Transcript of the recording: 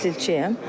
Mən tekstilçiyəm.